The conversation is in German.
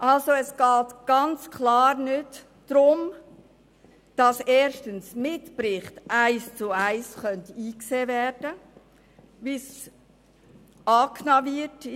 » Es geht also klar nicht darum, dass Mitberichte eins zu eins eingesehen